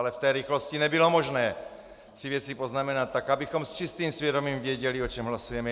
Ale v té rychlosti nebylo možné si věci poznamenat tak, abychom s čistým svědomím věděli, o čem hlasujeme.